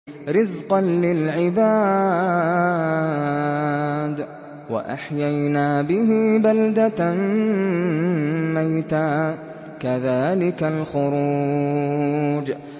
رِّزْقًا لِّلْعِبَادِ ۖ وَأَحْيَيْنَا بِهِ بَلْدَةً مَّيْتًا ۚ كَذَٰلِكَ الْخُرُوجُ